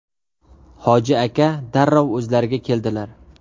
Hoji aka darrov o‘zlariga keldilar.